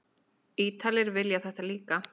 Ítalir vilja þetta líka.